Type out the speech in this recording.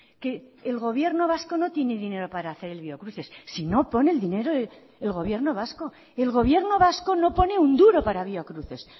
que el gobierno vasco no tiene dinero para hacer el biocruces si no pone el dinero el gobierno vasco el gobierno vasco no pone un duro para biocruces